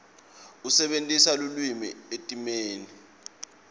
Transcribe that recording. asebentisa lulwimi etimeni